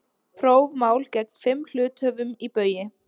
Prófmál gegn fimm hluthöfum í Baugi